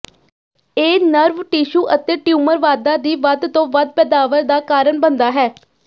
ਇਹ nerve tissue ਅਤੇ tumour ਵਾਧਾ ਦੀ ਵੱਧ ਤੋਂ ਵੱਧ ਪੈਦਾਵਾਰ ਦਾ ਕਾਰਨ ਬਣਦਾ ਹੈ